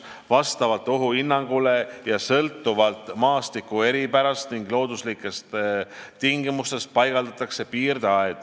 Vastavalt ohuhinnangule ja sõltuvalt maastiku eripärast ning looduslikest tingimustest paigaldatakse piirdeaed.